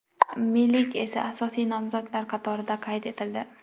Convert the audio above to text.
Milik esa asosiy nomzodlar qatorida qayd etildi.